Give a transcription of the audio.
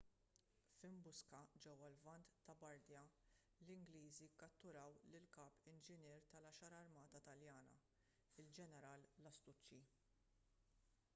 f'imbuska ġewwa l-lvant ta' bardia l-ingliżi kkatturaw lill-kap inġinier tal-għaxar armata taljana il-ġeneral lastucci